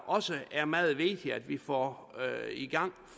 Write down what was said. også er meget vigtigt at vi får i gang